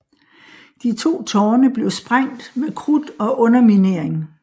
De to tårne blev sprængt med krudt og underminering